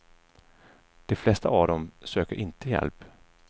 De flesta av dem söker inte hjälp.